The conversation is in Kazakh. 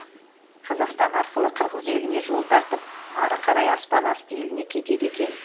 қазақстан арқылы қырғыз еліне жол тартып ары қарай аспан асты еліне кетеді екен